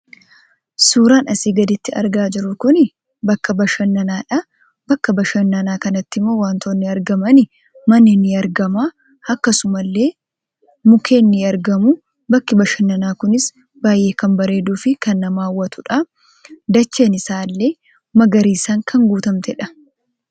Suuraan asii gaditti argaa jirru kun bakka bashannanaadha. Bakka bashannanaa kanatti immoo wantootni argamani; manni ni argama, akkasuma illee mukkeen ni argamu. Bakki bashannanaa kunis baay'ee kan bareeduu fi baay'ee kan nama hawwatuudha. Dacheen isaa illee magariisaan kan guutamteedha.